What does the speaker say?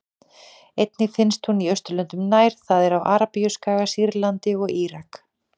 Einnig finnst hún í Austurlöndum nær, það er á Arabíuskaga, Sýrlandi og Írak.